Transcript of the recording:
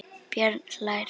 Björn hlær.